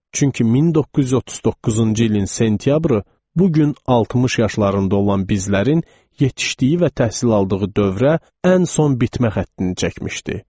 Çünki 1939-cu ilin sentyabrı bu gün 60 yaşlarında olan bizlərin yetişdiyi və təhsil aldığı dövrə ən son bitmə xəttini çəkmişdi.